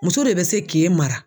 Muso de bɛ se k'e mara.